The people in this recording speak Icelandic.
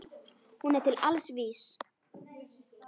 Hún er til alls vís.